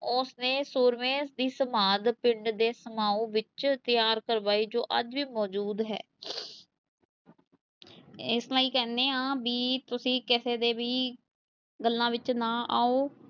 ਉਸ ਨੇ ਸੂਰਮੇ ਦੀ ਸਮਾਧ ਪਿੰਡ ਦੇ ਸਮਾਉਂ ਵਿੱਚ ਤਿਆਰ ਕਰਵਾਈ, ਜੋ ਅੱਜ ਵਿ ਮੋਜਦੂ ਹੈ ਇਸ ਲਈ ਕਹਿੰਦੇ ਹਾਂ ਵੀ ਤੁਸੀਂ ਕਿਸੇ ਦੇ ਵੀ ਗੱਲਾਂ ਵਿੱਚ ਨਾ ਆਓ